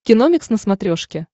киномикс на смотрешке